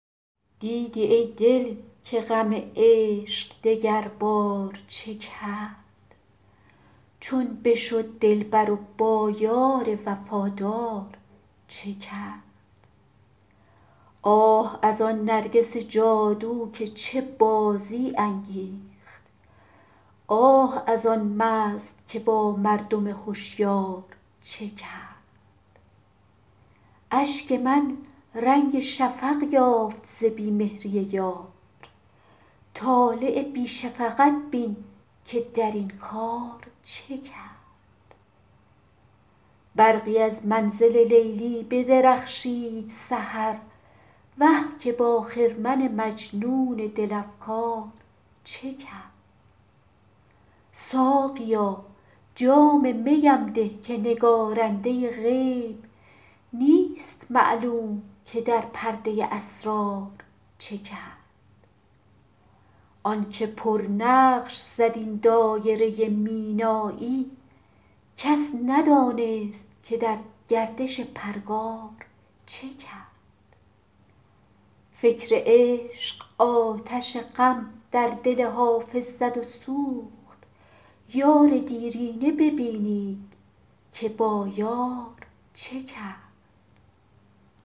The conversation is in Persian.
دیدی ای دل که غم عشق دگربار چه کرد چون بشد دلبر و با یار وفادار چه کرد آه از آن نرگس جادو که چه بازی انگیخت آه از آن مست که با مردم هشیار چه کرد اشک من رنگ شفق یافت ز بی مهری یار طالع بی شفقت بین که در این کار چه کرد برقی از منزل لیلی بدرخشید سحر وه که با خرمن مجنون دل افگار چه کرد ساقیا جام می ام ده که نگارنده غیب نیست معلوم که در پرده اسرار چه کرد آن که پرنقش زد این دایره مینایی کس ندانست که در گردش پرگار چه کرد فکر عشق آتش غم در دل حافظ زد و سوخت یار دیرینه ببینید که با یار چه کرد